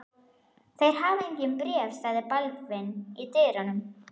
Þeir hafa engin bréf, sagði Baldvin í dyrunum.